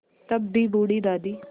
तब भी बूढ़ी दादी